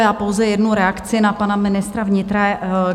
Já pouze jednu reakci na pana ministra vnitra.